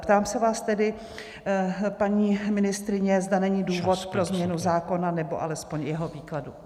Ptám se vás tedy, paní ministryně, zda není důvod pro změnu zákona, nebo alespoň jeho výkladu.